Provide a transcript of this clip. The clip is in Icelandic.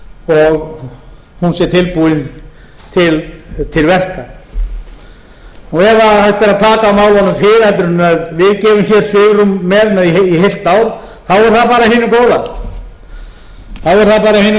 sé tilbúin til verka ef hægt er að taka á málunum fyrr en við gefum hér svigrúm með í heilt ár er það bara af hinu góða enda